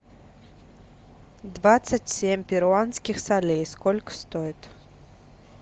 двадцать семь перуанских солей сколько стоит